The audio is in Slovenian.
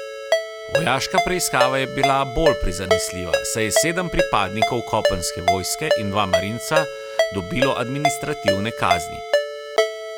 Vojaška preiskava je bila bolj prizanesljiva, saj je sedem pripadnikov kopenske vojske in dva marinca dobilo administrativne kazni.